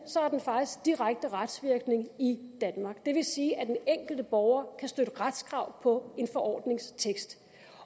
har den faktisk direkte retsvirkning i danmark det vil sige at den enkelte borger kan støtte retskrav på en forordnings tekst